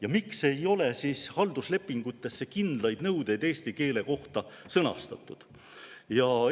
Ja miks ei ole halduslepingutes kindlaid nõudeid eesti keele kohta sõnastatud?